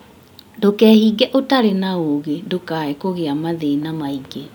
Ndũkeehinge ũtarĩ na ũũgĩ ndũkae kũgĩa mathĩna mangĩ